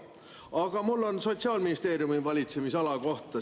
Aga mul on küsimus Sotsiaalministeeriumi valitsemisala kohta.